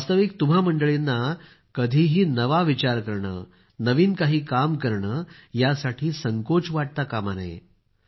वास्तविक तुम्हा मंडळींना कधीही नवा विचार करणं नवीन काही काम करणं यासाठी संकोच वाटता कामा नये